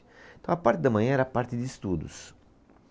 Então a parte da manhã era a parte de estudos.